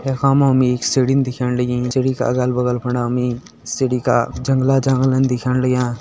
यख मा हम एक सीढ़ी दिखेण लगीं सीढ़ी का अलग बगल फणा हमि सीढ़ी का जंगला जांगला दिखेण लग्यां।